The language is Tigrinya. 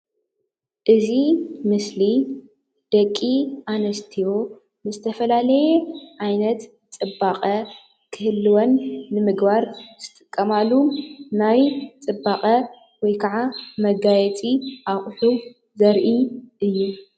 እዚ ምስሊ ደቂ ኣንስትዮ ንዝተፈላለየ ዓይነት ፅባቐ ክህልወን ንምግባር ዝጥቀማሉ ናይ ፅባቐ ወይ ከዓ መጋየፂ ኣቕሑት ዘርኢ እዩ፡፡